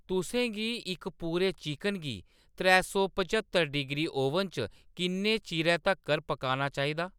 तुसें गी इक पूरे चिकन गी त्रै सौ पंज्हत्तर डिग्री ओवन च किन्ने चिरै तक्कर पकाना चाहिदा